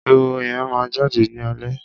ehoro yẹn máa jáde ní alẹ́